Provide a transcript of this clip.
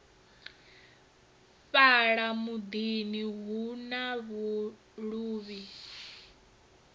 fhala mudini hu na luvhi